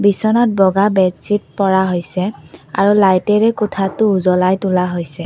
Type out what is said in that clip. বিছনাত বগা বেড ছিত পৰা হৈছে আৰু লাইটেৰে কোঠাটো উজ্বলাই তোলা হৈছে।